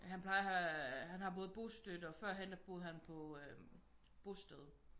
Han plejer at have han har både bostøtte og forhen der boede han på øh bosted